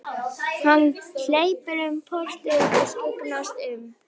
Hann hleypur um portið og skyggnist um.